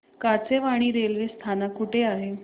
Kachewani railway स्थानक कुठे आहे